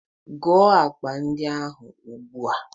Gụọ akpa ndị ahụ ugbu a!